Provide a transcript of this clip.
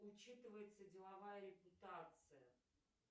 учитывается деловая репутация